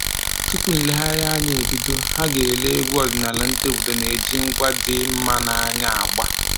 Tupu nlegharịanya ebido, ha ga-ele egwu ọdịnaala ndị obodo na-eji ngwa dị mma n'anya agba